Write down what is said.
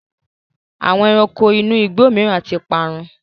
Àwọn ẹranko inú igbó mìíràn ti parun.